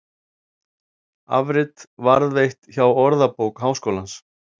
Afrit varðveitt hjá Orðabók Háskólans.